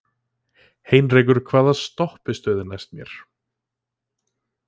Heinrekur, hvaða stoppistöð er næst mér?